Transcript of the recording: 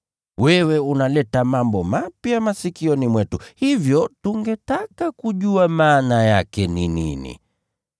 Wewe unaleta mambo mapya masikioni mwetu, hivyo tungetaka kujua maana yake ni nini.”